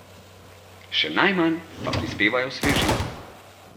Še najmanj pa prispevajo svežino.